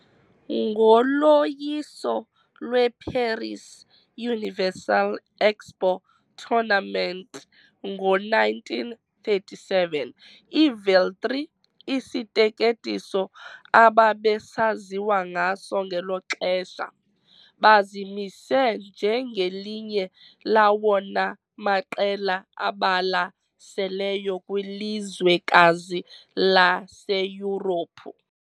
Ngoloyiso lweParis Universal Expo Tournament ngo-1937, iVeltri, isiteketiso ababesaziwa ngaso ngelo xesha, bazimise njengelinye lawona maqela abalaseleyo kwilizwekazi laseYurophu .